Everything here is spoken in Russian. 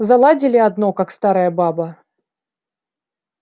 заладили одно как старая баба